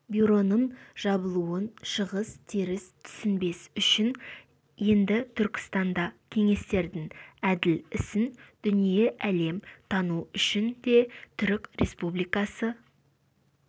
бюроның жабылуын шығыс теріс түсінбес үшін де енді түркістанда кеңестердің әділ ісін дүние-әлем тану үшін де түрік республикасы